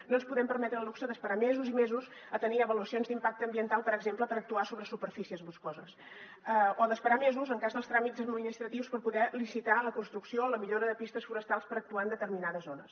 no ens podem permetre el luxe d’esperar mesos i mesos a tenir avaluacions d’impacte ambiental per exemple per actuar sobre superfícies boscoses o d’esperar mesos en cas de tràmits administratius per poder licitar la construcció o la millora de pistes forestals per actuar en determinades zones